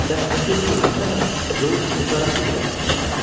Dəstə geri dönəndə yolüstü Qaraçı Ribatında qaldı.